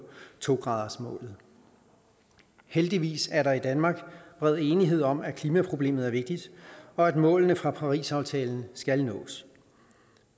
to grader heldigvis er der i danmark bred enighed om at klimaproblemet er vigtigt og at målene fra parisaftalen skal nås